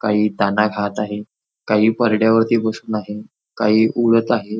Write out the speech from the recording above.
काही दाणा खात आहे काही परड्या वरती बसून आहे काही उडत आहे.